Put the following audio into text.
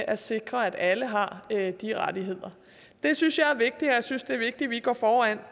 at sikre at alle har de rettigheder det synes jeg er vigtigt og jeg synes det er vigtigt at vi går foran